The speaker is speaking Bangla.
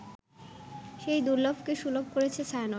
সেই দুর্লভকে সুলভ করেছে ছায়ানট